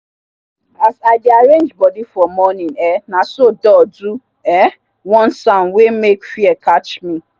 as i dey arrange bodi for morning um naso door do um one sound wey make fear catch me